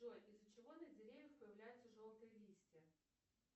джой из за чего на деревьях появляются желтые листья